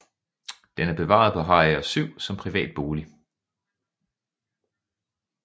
Den er bevaret på Harager 7 som privat bolig